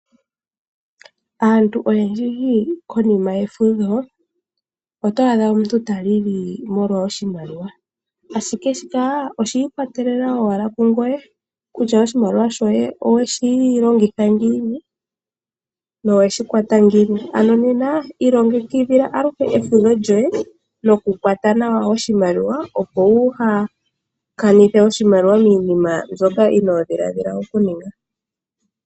Aantu oyendji konima yefudho, oto adha omuntu ta lili molwa oshimaliwa. Ashike shika oshiikwatelela owala kungoye kutya oshimaliwa shoye oweshi longitha ngiini noweshi kwata ngiini. Ano nena, iilongekidhila aluhe efudho lyoye nokukwata nawa oshimaliwa opo wu haakanithe oshimaliwa miinima mbyoka inoodhiladhila okuninga.